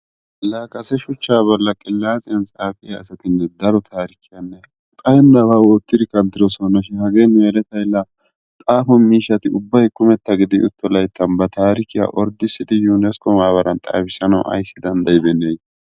La kase shuchcha bolli qilatsiyaan xaafiyaa asati daro taarikiya xayennaba wottidi kanttidosona shin hagee nu yeletay la xaafo miishshati ubbay kummetta gidi utto layttan ba tarikkiya orddissidi Yuunaskko maabaran xaafissanawu aybissi danddaybeennee!